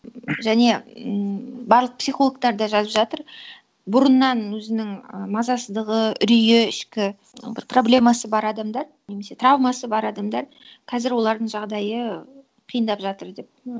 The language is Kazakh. және м барлық психологтар да жазып жатыр бұрыннан өзінің ы мазасыздығы үрейі ішкі бір проблемасы бар адамдар немесе травмасы бар адамдар қазір олардың жағдайы қиындап жатыр деп